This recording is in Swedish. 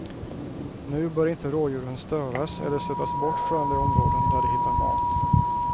Nu bör inte rådjuren störas eller stötas bort från de områden där de hittar mat.